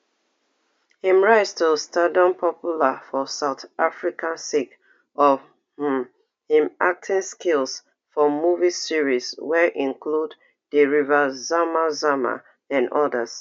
im rise to stardom popular for south africa sake of um im acting skills for movie series wey include the river zama zama and odas